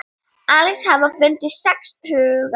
Alls hafa fundist sex haugar.